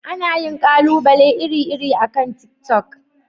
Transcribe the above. Ana yin ƙalubale iri-iri akan tiktok.